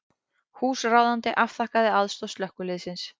Húsráðandi afþakkaði aðstoð slökkviliðsins